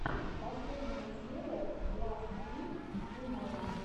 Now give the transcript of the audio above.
последняя серия ласт вик тунайт